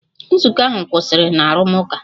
Nzukọ ahụ kwụsịrị na arụmụka.